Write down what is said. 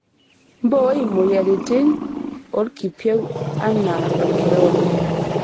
Mboii moyiaritin olkipieu anaa olkirobi.